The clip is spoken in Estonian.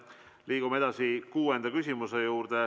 Liigume edasi kuuenda küsimuse juurde.